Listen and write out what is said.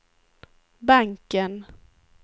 banken